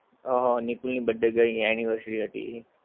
અમ નિકુલ ની birthday ગઈ anniversary હતી